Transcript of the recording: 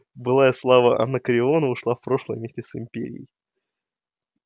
былая слава анакреона ушла в прошлое вместе с империей